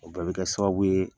O bɛɛ bi kɛ sababu ye